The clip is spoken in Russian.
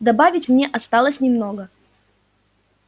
добавить мне осталось немного